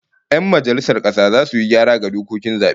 Yan majalisar kasa zasu yi gyara ga dokokin zabe